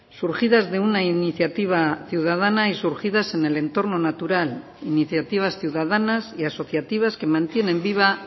surgidas de una iniciativa ciudadana y surgidas en el entorno natural iniciativas ciudadanas y asociativas que mantienen viva